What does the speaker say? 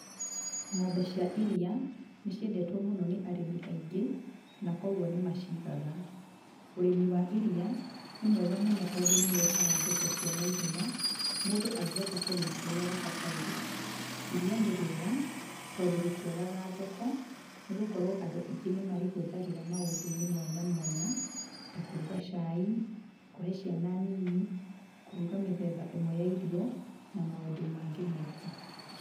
Ng'ombe cia iria, nĩ ciendetwo mũno nĩ arĩmi aingĩ, na koguo nĩ macigaga. Ũrĩmi wa iria, nĩ mwega mũno tondũ nĩũheyaga mũndũ beca cia naihenya, mũndũ angũhota kũrĩma ũrĩa gũbatiĩ. Iria nĩ rĩega, tondũ rĩtiagaga thoko, nĩ gũkorwo andũ aingĩ nĩmarĩhũthagĩra na njira mwanya mwanya, ta kũruga cai, kũhe ciana nyinyi, kũruga mĩthemba ĩmwe ya irio, na maũndũ mangĩ maingĩ.